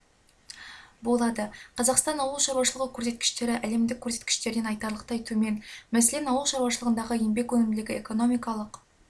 болады қазақстан ауыл шарушылығы көрсеткіштері әлемдік көрсеткіштерден айтарлықтай төмен мәселен ауыл шаруашылығындағы еңбек өнімділігі экономикалық